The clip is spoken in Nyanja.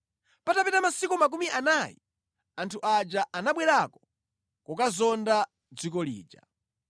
Patapita masiku makumi anayi, anthu aja anabwerako kokazonda dziko lija.